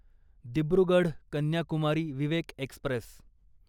Dibrugarh Kanyakumari Vivek Express